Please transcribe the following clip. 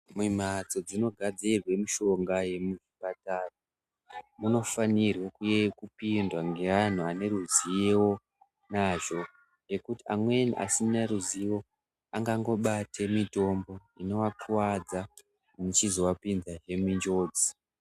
Mumhatso munogadzirwa mitombo yemuchipatara, munofanirwa kupindwa ngeanhu ane ruzivo nazvo, ngekuti amweni asine ruzivo angangobate mitombo inoakuvadza yeizovapinzazve munjodzi.